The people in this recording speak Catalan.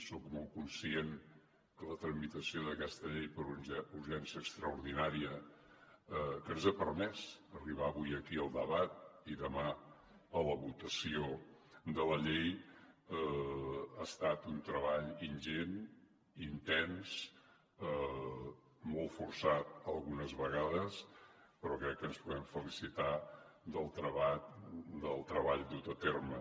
soc molt conscient que la tramitació d’aquesta llei per urgència extraordinària que ens ha permès arribar avui aquí al debat i demà a la votació de la llei ha estat un treball ingent intens molt forçat algunes vegades però crec que ens podem felicitar del treball dut a terme